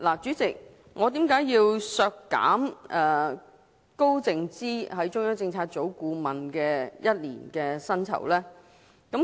主席，我為何要提出削減高靜芝作為中央政策組顧問的1年薪酬呢？